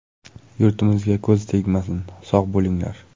Yurtimizga ko‘z tegmasin, sog‘ bo‘linglar!